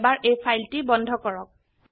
এবাৰ এই ফাইলটি বন্ধ কৰক